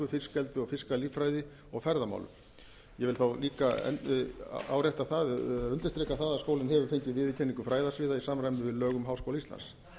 fiskeldi og fiskalíffræði og ferðamálum ég vil þá líka árétta það og undirstrika það að skólinn hefur fengið viðurkenningu fræðasviða í samræmi við lög um háskóla íslands